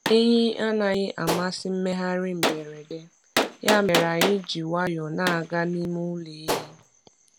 Ehi anaghị amasị mmegharị mberede, ya mere anyị ji nwayọọ na-aga n’ime ụlọ ehi.